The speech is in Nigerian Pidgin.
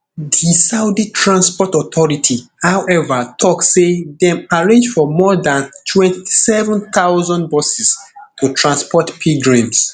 di saudi transport authority however tok say dem arrange for more dan twenty-seven thousand buses to transport pilgrims